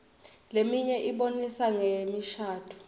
leminye ibonisa ngemishadvo